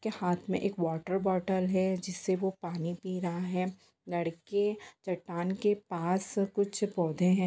के हाथ मे एक वाटर बोटल है जिससे वो पानी पी रहा हैं लड़के चट्टान के पास कुछ पौधे है।